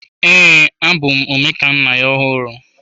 Ee, abụ m Omekannaya ọhụrụ.